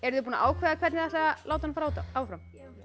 þið búin að ákveða hvernig þið ætlið að láta hann fljóta áfram